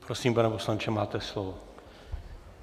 Prosím, pane poslanče, máte slovo.